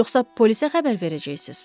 Yoxsa polisə xəbər verəcəksiz?